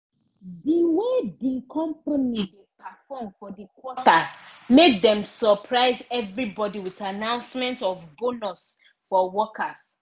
di way the company perform for the quarter make dem surprise everybody with announcement of bonus for workers.